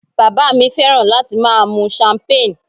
Bàbá mi fẹ́ràn láti máa mu champagne